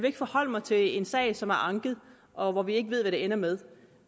ikke forholde mig til en sag som er anket og hvor vi ikke ved hvad det ender med